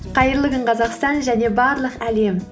қайырлы күн қазақстан және барлық әлем